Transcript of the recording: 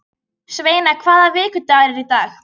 Sveina, hvaða vikudagur er í dag?